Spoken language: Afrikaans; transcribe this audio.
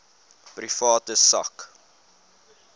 private sak